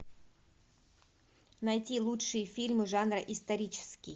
найти лучшие фильмы жанра исторический